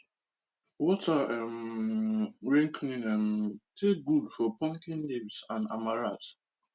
water um wen clean um dey good for pumpkin leaves and amaranth